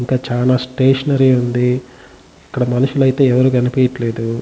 ఇంకా చానా స్టేషనరీ ఉంది ఇక్కడ మనుషులైతే ఎవరు కనిపియ్యట్లేదు.